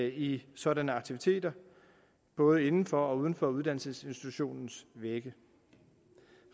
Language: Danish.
i sådanne aktiviteter både inden for og uden for uddannelsesinstitutionens vægge